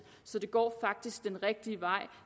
så det går faktisk den rigtige vej